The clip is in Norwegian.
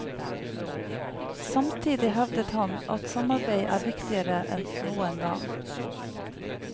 Samtidig hevdet han at samarbeid er viktigere enn noen gang.